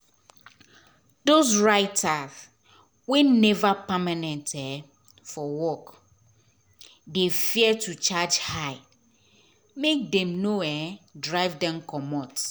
dos writer wey neva permanent um for work um dey fear to charge high make dem nor um drive dem comot